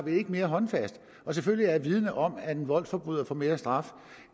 ikke mere håndfast og selvfølgelig er jeg vidende om at en voldsforbryder får mere straf